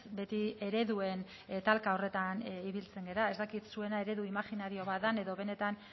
beti ereduen talka horretan ibiltzen gara ez dakit zuena eredu imajinario bat den edo benetan